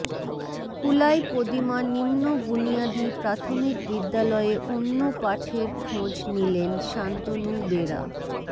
কুলাই পদিমা নিম্ন বুনিয়াদি প্রাথমিক বিদ্যালয়ে অন্য পাঠের খোঁজ নিলেন শান্তনু বেরা